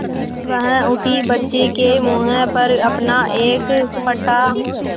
वह उठी बच्चे के मुँह पर अपना एक फटा